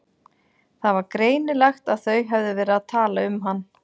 Það var greinilegt að þau höfðu verið að tala um hann.